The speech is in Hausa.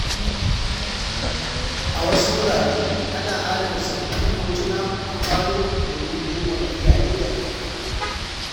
A wasu wurare, ana adana tsoffin hotuna a falo domin girmama iyaye da kakanni.